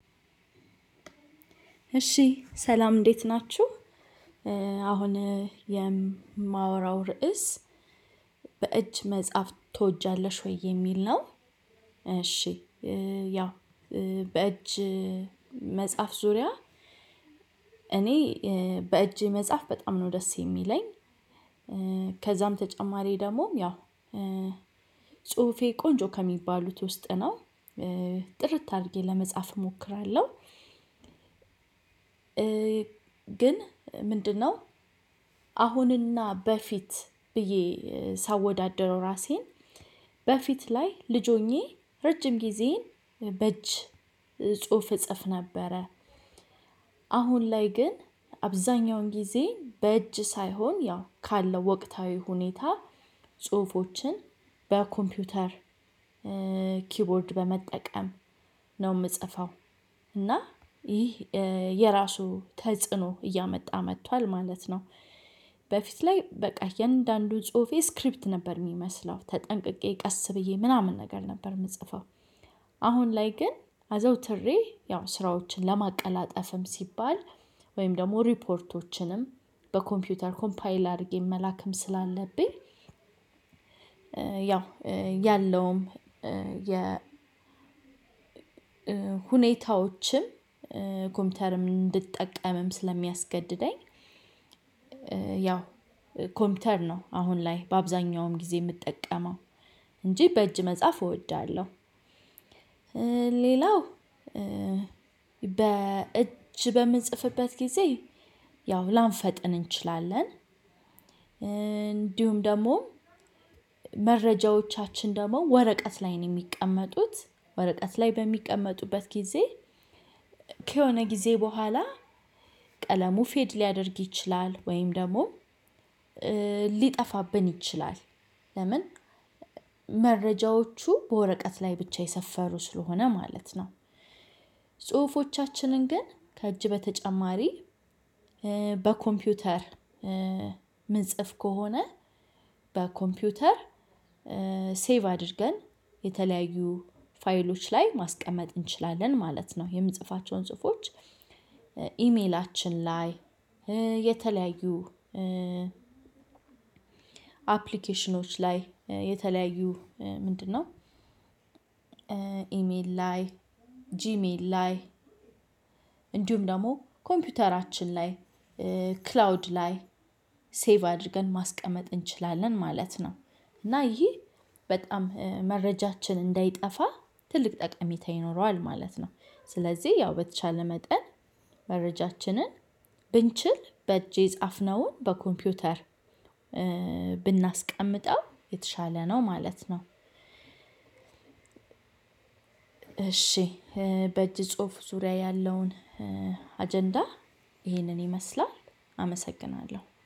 እሺ ሰላም እንዴት ናችሁ አሁን የማወራው ርዕስ በእጅ መጽሐፍ ትወጃለሽ ወይ የሚል ነው? እሺ ያው በእጅ መጽሐፍ ዙሪያ እኔ በእጄ መጽሐፍ በጣም ነው ደስ የሚለኝ። ከዛም በተጨማሪ ደግሞም ያው ጽሁፌ ቆንጆ ከሚባሉት ውስጥ ነው። ጥርት አድርጌ ለመጻፍ እሞክራለሁ። ግን ምንድነው? አሁንና በፊት ብዬ ሳወዳድረው ራሴን በፊት ላይ ልጅ ሆኜ ረጅም ጊዜን በእጅ ጽሁፍ እጽፍ ነበረ። አሁን ላይ ግን አብዛኛውን ጊዜ በእጅ ሳይሆን ያው ካለው ወቅታዊ ሁኔታ ጽሁፎችን በኮምፒውተር ኪቦርድ በመጠቀም ነው የምጽፈው እና ይህ የራሱ ተጽዕኖ እያመጣ መጥቷል ማለት ነው። በፊት ላይ በቃ የእንዳንዱ ጽሁፌ ስክሪፕት ነበር የሚመስለው ተጠንቅቄ ቀስ ብዬ ምናምን ነገር ነበር የምጽፈው። አሁን ላይ ግን አዘውትሬ ያው ስራዎችን ለማቀላጠፍም ሲባል ወይም ደግሞ ሪፖርቶችንም በኮምፒውተር ኮምፓይል አድርጌ መላክም ስላለብኝ። ያው ያለውም የ ሁኔታዎችም ኮምፒውተርም እንድጠቀምም ስለሚያስገድደኝ። ያው ኮምፒውተር ነው አሁን ላይ በአብዛኛውም ጊዜ የምጠቀመው እንጂ በእጅ መጽሐፍ እወዳለሁ። ሌላው በእጅ በምንጽፍበት ጊዜ ያው ላንፈጥን እንችላለን። እንዲሁም ደግሞ መረጃዎቻችን ደግሞ ወረቀት ላይ ነው የሚቀመጡት ወረቀት ላይ በሚቀመጡበት ጊዜ ከሆነ ጊዜ በኋላ ቀለሙ ፌድ ሊያደርግ ይችላል ወይም ደግሞ ሊጠፋብን ይችላል። ለምን መረጃዎቹ በወረቀት ላይ ብቻ የሰፈሩ ስለሆነ ማለት ነው። ጽሁፎቻችንን ግን ከእጅ በተጨማሪ በኮምፒውተር ምንጽፍ ከሆነ በኮምፒውተር ሴቭ አድርገን የተለያዩ ፋይሎች ላይ ማስቀመጥ እንችላለን ማለት ነው የምጽፋቸውን ጽሁፎች ኢሜላችን ላይ የተለያዩ አፕሊኬሽኖች ላይ የተለያዩ ምንድነው? ኢሜል ላይ ጂሜል ላይ እንዲሁም ደግሞ ኮምፒውተራችን ላይ ክላውድ ላይ ሴቭ አድርገን ማስቀመጥ እንችላለን ማለት ነው። እና ይሄ በጣም መረጃችን እንዳይጠፋ ትልቅ ጠቀሜታ ይኖረዋል ማለት ነው። ስለዚህ ያው በተቻለ መጠን መረጃችንን ብንችል በእጄ የጻፍነውን በኮምፒውተር ብናስቀምጠው የተሻለ ነው ማለት ነው። እሺ በእጅ ጽሁፍ ዙሪያ ያለውን አጀንዳ ይሄንን ይመስላል አመሰግናለሁ